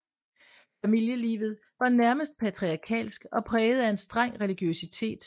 Familielivet var nærmest patriarkalsk og præget af en streng religiøsitet